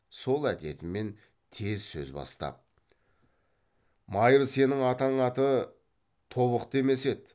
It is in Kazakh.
сол әдетімен тез сөз бастап майыр сенің атаң аты тобықты емес еді